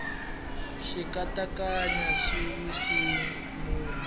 xikanyakanya xi wise munhu